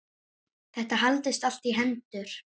Þetta haldist allt í hendur.